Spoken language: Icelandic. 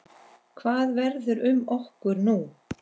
Hvað verður um okkur nú?